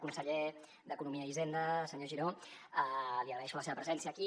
conseller d’economia i hisenda senyor giró li agraeixo la seva presència aquí